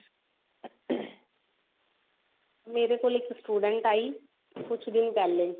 ਮੇਰੇ ਕੋਲ ਇੱਕ ਸਟੂਡੇੰਟ ਆਈ ਕੁਝ ਦਿਨ ਪਹਿਲੇ